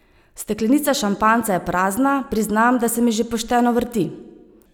Steklenica šampanjca je prazna, priznam, da se mi že pošteno vrti.